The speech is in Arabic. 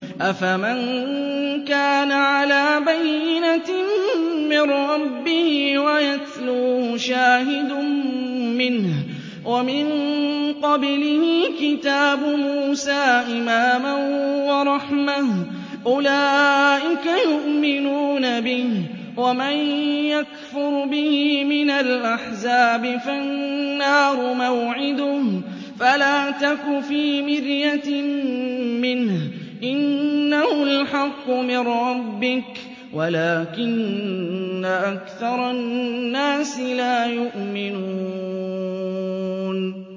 أَفَمَن كَانَ عَلَىٰ بَيِّنَةٍ مِّن رَّبِّهِ وَيَتْلُوهُ شَاهِدٌ مِّنْهُ وَمِن قَبْلِهِ كِتَابُ مُوسَىٰ إِمَامًا وَرَحْمَةً ۚ أُولَٰئِكَ يُؤْمِنُونَ بِهِ ۚ وَمَن يَكْفُرْ بِهِ مِنَ الْأَحْزَابِ فَالنَّارُ مَوْعِدُهُ ۚ فَلَا تَكُ فِي مِرْيَةٍ مِّنْهُ ۚ إِنَّهُ الْحَقُّ مِن رَّبِّكَ وَلَٰكِنَّ أَكْثَرَ النَّاسِ لَا يُؤْمِنُونَ